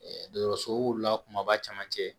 dɔgɔtɔrɔsow la kumaba caman cɛ